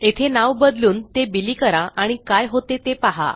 येथे नाव बदलून ते बिली करा आणि काय होते ते पहा